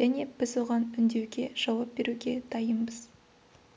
және біз оған үндеуге жауап беруге дайынбыз